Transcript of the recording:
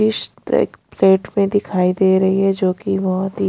plate में दिखाई दे रही है जो कि बहुत ही--